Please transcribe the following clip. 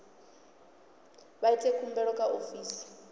vha ite khumbelo kha ofisi